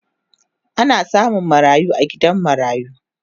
Ana samun marayu a gidan marayu